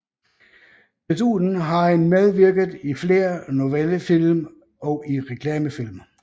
Desuden har han medvirket i flere novellefilm og i reklamefilm